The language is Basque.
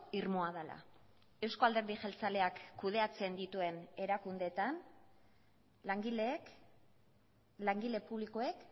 irmoa dela euzko alderdi jeltzaleak kudeatzen dituen erakundeetan langileek langile publikoek